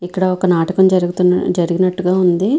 ఇక్కడ ఒక నాటకం జరుగుతున్ జరిగినట్టుగా ఉంది.